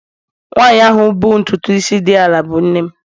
Nwanyị ahụ bụ ntutu isi dị ala bụ nne m